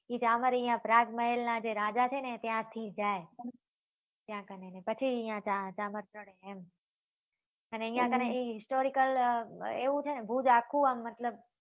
એ જામર અહિયાં પ્રાગ મહેલ નાં જે રાજા છે ને ત્યાં થી જાય ત્યાં કને પછી અહિયાં જામર ચડે એમ અને અહિયાં કને historical આમ એવું છે ને આ ભુજ આખું આ મતલબ